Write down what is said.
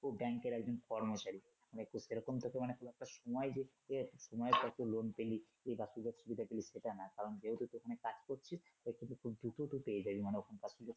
তুই ব্যাংকের একজন কর্মচারী মানে তোর সেরকম তোকে খুব একটা সময় দিতে মানে তুই ধর একটা loan পেলি এই বাকি ধর সুবিধা পেলিস সেটা না কারণ তুই ওখানে কাজ করছিস তাই তোকে খুব দ্রুত তুই পেয়ে যাবি মানে ওখানে